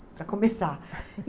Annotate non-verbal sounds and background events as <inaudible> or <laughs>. <laughs> Para começar.